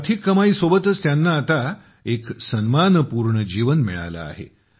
आर्थिक कमाईसोबतच त्यांना आता एक सन्मानपूर्ण जीवन मिळाले आहे